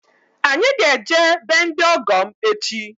Anyị ga-eje be ndị ọgọ m echi